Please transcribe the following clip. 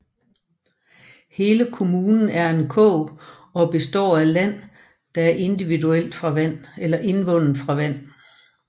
Hele kommunen er en kog og består af land der er indvundet fra vand